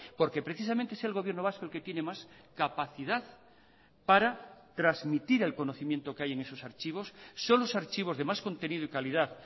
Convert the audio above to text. porque precisamente es el gobierno vasco el que tiene más capacidad para transmitir el conocimiento que hay en esos archivos son los archivos de más contenido y calidad